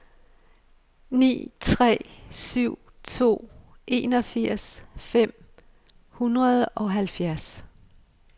ni tre syv to enogfirs fem hundrede og halvfjerds